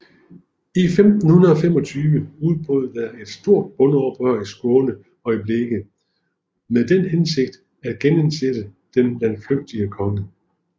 I 1525 udbrød der et stort bondeoprør i Skåne og Blekinge med den hensigt at genindsætte den landflygtige konge